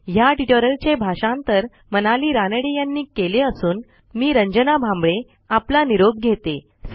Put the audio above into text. ह्या ट्युटोरियलचे भाषांतर मनाली रानडे यांनी केले असून मी रंजना भांबळे आपला निरोप घेते160